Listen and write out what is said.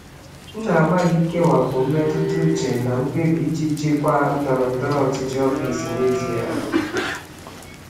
Ana m agbalị ikewapụ mmetụta uche na mkpebi iji jikwaa ndọrọndọrọ ụlọ ọrụ n'ezoghị ọnụ.